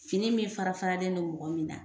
Fini min fara faralen don mɔgɔ min na